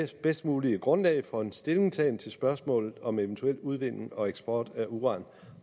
bedst mulige grundlag for en stillingtagen til spørgsmålet om eventuel udvinding og eksport af uran